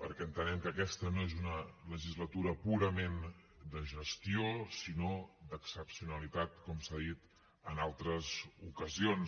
perquè entenem que aquesta no és una legislatura purament de gestió sinó d’excepcionalitat com s’ha dit en altres ocasions